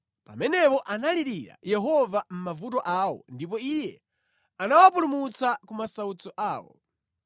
Pamenepo analirira Yehova mʼmavuto awo ndipo Iye anawapulumutsa ku masautso awo.